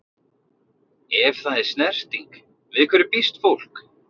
Ef það er snerting- við hverju býst fólk?